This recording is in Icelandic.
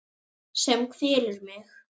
Sem kvelur mig.